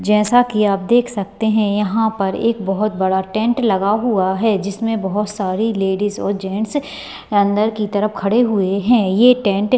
जैसा की आप देख सकते यहाँ पर एक बहुत बड़ा टेंट लगा हुआ है जिसमे बहुत सारी लेडीज और जेंट्स अंदर की तरफ खड़े हुए है ये टेंट --